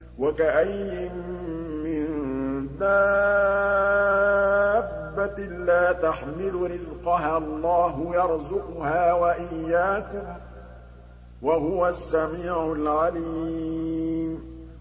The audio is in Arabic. وَكَأَيِّن مِّن دَابَّةٍ لَّا تَحْمِلُ رِزْقَهَا اللَّهُ يَرْزُقُهَا وَإِيَّاكُمْ ۚ وَهُوَ السَّمِيعُ الْعَلِيمُ